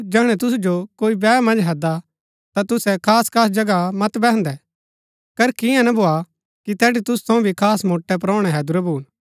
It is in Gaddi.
जैहणै तुसु जो कोई बैह मन्ज हैददा ता तुसै खास खास जगह मत बैहन्‍दै करकी ईयां ना भोआ कि तैठी तुसू थऊँ भी खास मोट्टै परोहणै हैदुरै भून